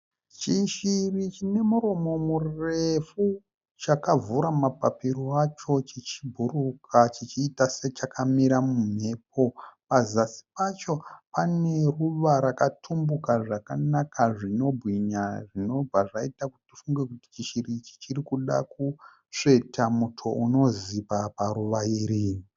Chishiri chine muromo murefu chakavhura mapapiro acho chichibhururuka chichiita sechakamira mumhepo. Pazasi pacho pane ruva rakatumbuka zvakanaka zvinobwinya zvinobva zvaita kuti tifunge kuti chishiri ichi chirikuda kusveta muto unozipa paruva iri.